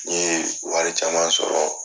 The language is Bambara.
N ye wari caman sɔrɔ